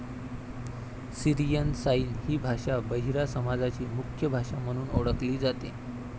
Syrian sign हि भाषा बहिरा समाजाची मुख्य भाषा म्हणून ओळखली जाते.